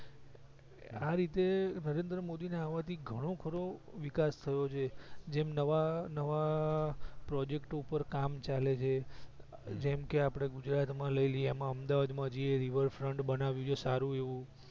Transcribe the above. આ રીતે નરેન્દ્ર મોદી ને આવાથી ગણો બધો વિકાસ થઈ રહીયો છે જેમ નવા નવા project ઉપર કામ ચાલે છે જેમ કે આપડે ગુજરાત માં લય લિયે એમાં અમદાવાદ માં જે river front બનાયું છે સારું એવું